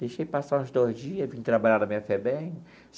Deixei passar uns dois dias, vim trabalhar na minha FEBEM.